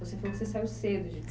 Você falou que saiu cedo de